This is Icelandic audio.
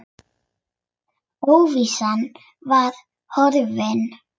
Óvissan var horfin.